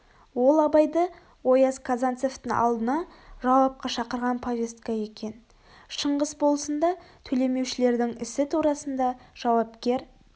ол абайды ояз казанцевтің алдына жауапқа шақырған повестка екен шыңғыс болысында төлемеушілердің ісі турасында жауапкер